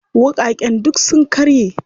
Wuƙaƙen duk sun karye.